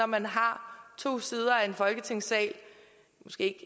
man har to sider af en folketingssal måske